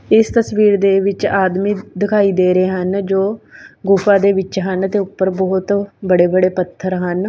ਇਸ ਤਸਵੀਰ ਦੇ ਵਿੱਚ ਆਦਮੀਂ ਦਿਖਾਈ ਦੇ ਰਹੇ ਹਨ ਜੋ ਗੁਫ਼ਾ ਦੇ ਵਿੱਚ ਹਨ ਤੇ ਉੱਪਰ ਬਹੁਤ ਬੜੇ ਬੜੇ ਪੱਥਰ ਹਨ।